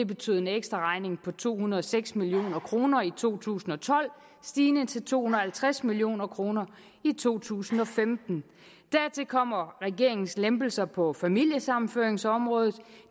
betydet en ekstraregning på to hundrede og seks million kroner i to tusind og tolv stigende til to hundrede og halvtreds million kroner i to tusind og femten dertil kommer regeringens lempelser på familiesammenføringsområdet